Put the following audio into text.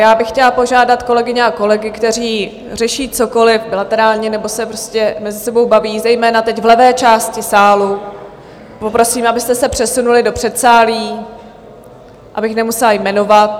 Já bych chtěla požádat kolegyně a kolegy, kteří řeší cokoli bilaterálně nebo se prostě mezi sebou baví, zejména teď v levé části sálu, poprosím, abyste se přesunuli do předsálí, abych nemusela jmenovat.